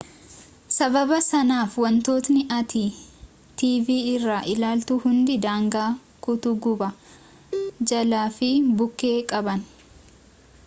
sabaaba sanaaf wantootni ati tv irrati ilaaltu hundi daangaa kutu gubbaa jalaa fi bukke qaban